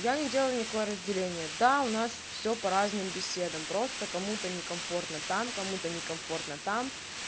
я не делаю некое разделение да у нас все по разным беседам просто кому-то некомфортно там кому-то некомфортно там